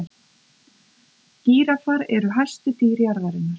gíraffar eru hæstu dýr jarðarinnar